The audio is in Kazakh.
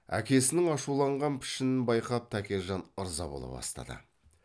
әкесінің ашуланған пішінін байқап тәкежан ырза бола бастады